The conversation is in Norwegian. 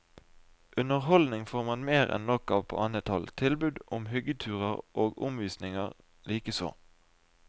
Underholdning får man mer enn nok av på annet hold, tilbud om hyggeturer og omvisninger likeså.